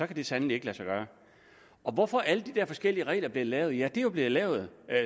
kan sandelig ikke lade sig gøre hvorfor er alle de der forskellige regler blevet lavet ja de er jo blevet lavet